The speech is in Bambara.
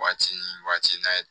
Waati ni waati n'a ye